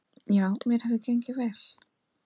Já, mér hefur gengið vel.